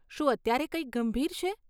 શું અત્યારે કંઈક ગંભીર છે?